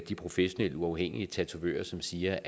de professionelle uafhængige tatovører som siger